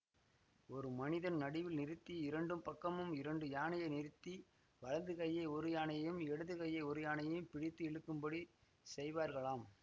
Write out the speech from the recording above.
ஒரு மனிதன் நடுவில் நிறுத்தி இரண்டு பக்கமும் இரண்டு யானையை நிறுத்தி வலது கையை ஒரு யானையும் இடது கையை ஒரு யானையும் பிடித்து இழுக்கும்படி செய்வார்களாம்